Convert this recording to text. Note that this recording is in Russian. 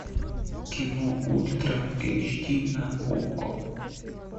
кино ультра эйч ди на окко